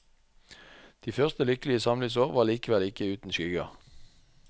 De første lykkelige samlivsår var likevel ikke uten skygger.